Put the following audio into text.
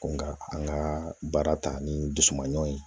Nka an ka baara ta ni dusu man ɲi